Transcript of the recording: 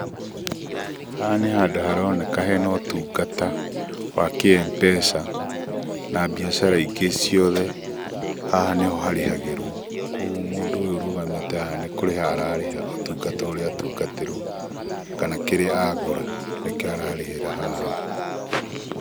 Haha nĩ handũ haroneka hena utungata, wa kĩ-Mpesa na biashara ingĩ ciothe, haha nĩho harehagerwo, koguo mũndũ ũyũ, ũrũgamete haha, nĩ kũreha arareha ũtungata ũrĩa atungaterwo, kana kĩrĩa agũra, nĩkio ararehera haha.